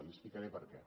li explicaré per què